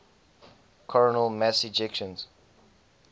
coronal mass ejections